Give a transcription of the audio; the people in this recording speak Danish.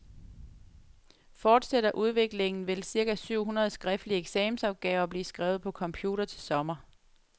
Fortsætter udviklingen, vil cirka syv hundrede skriftlige eksamensopgaver blive skrevet på computer til sommer.